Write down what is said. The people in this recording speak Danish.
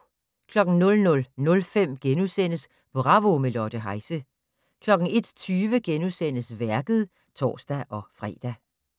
00:05: Bravo - med Lotte Heise * 01:20: Værket *(tor-fre)